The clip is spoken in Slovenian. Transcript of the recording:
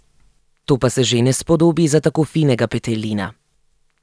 To se pa že ne spodobi za tako finega petelina.